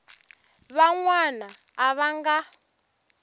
van wana a va nga